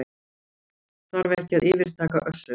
Þarf ekki að yfirtaka Össur